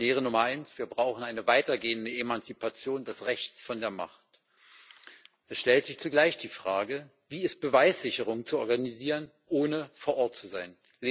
Lehre Nummer 1 Wir brauchen eine weitergehende Emanzipation des Rechts von der Macht. Es stellt sich zugleich die Frage Wie ist Beweissicherung zu organisieren, ohne vor Ort zu sein?